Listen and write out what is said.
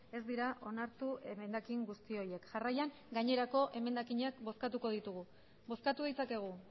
ez dira onartu emendakin guzti horiek jarraian gainerako emendakinak bozkatuko ditugu bozkatu ditzakegu